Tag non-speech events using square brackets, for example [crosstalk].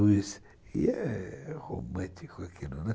[unintelligible] E é romântico aquilo, não é?